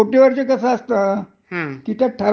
नाही पण त्याच्या मध्ये हे करतात की.